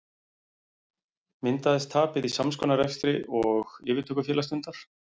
Myndaðist tapið í sams konar rekstri og yfirtökufélag stundar?